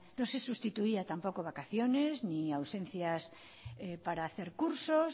no se sustituía tampoco vacaciones ni ausencias para hacer cursos